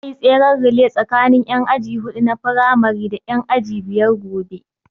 Za a yi tseren relay tsakanin ƴan aji huɗu na firamari da ƴan aji biyar gobe